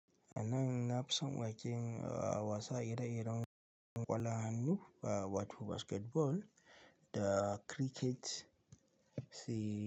Anan na fison waken wasa ire-iren ƙwallo hannu aa wato basketball da cricket sai.